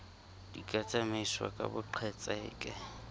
di ka tsamaiswa ka boqhetseke